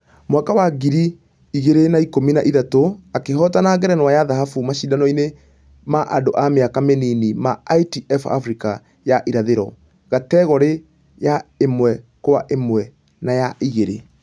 Mwaka wa ngiri igĩri na ikũmi na ithatũ akĩhotana ngerenwa ya dhahabu mashidano-inĩ ma andũ a mĩaka mĩnini ma ITF africa ya ĩrathĩro kategore ya ĩmwekwaĩmwe na ya ĩgĩrĩ.